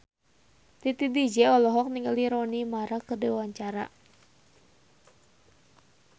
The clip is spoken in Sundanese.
Titi DJ olohok ningali Rooney Mara keur diwawancara